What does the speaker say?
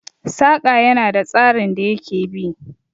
Saƙa ya na da tsarin da ya ke bi